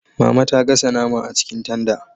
Mama ta gasa nama a cikin tanda